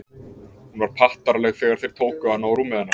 Hún var pattaraleg þegar þeir tóku hana og rúmið hennar.